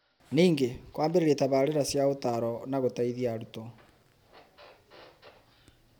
Ningĩ, kũambĩrĩria tabarĩĩra cia ũtaaro na gũteithia arutwo